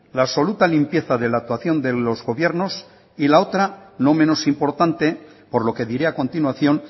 la absoluta limpieza de la actuación de los gobiernos y la otra no menos importante por lo que diré a continuación